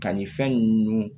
Ka nin fɛn ninnu